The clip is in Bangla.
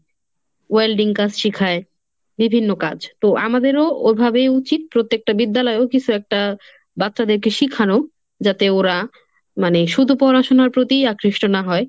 welding কাজ শিখায় বিভিন্ন কাজ। তো আমাদেরও ওইভাবে উচিত প্রত্যেকটা বিদ্যালয়েও কিসু একটা বাচ্চাদেরকে শিখানো। যাতে ওরা মানে শুধু পড়াশোনার প্রতিই আকৃষ্ট না হয়,